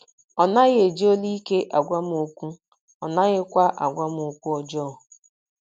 Ọ naghị eji olu ike agwa m okwu, ọ naghịkwa agwa m okwu ọjọọ. ”